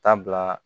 Taa bila